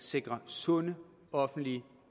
sikre sunde offentlige